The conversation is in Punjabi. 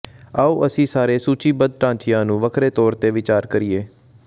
ਆਉ ਅਸੀਂ ਸਾਰੇ ਸੂਚੀਬੱਧ ਢਾਂਚਿਆਂ ਨੂੰ ਵੱਖਰੇ ਤੌਰ ਤੇ ਵਿਚਾਰ ਕਰੀਏ